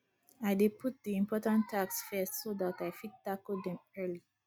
i dey put di important tasks first so dat i fit tackle dem early